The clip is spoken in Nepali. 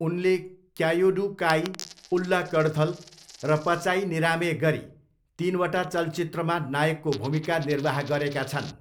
उनले क्यायोडु काई, उल्ला कडथल र पचाई निरामे गरी तिनवटा चलचित्रमा नायकको भूमिका निर्वाह गरेका छन्।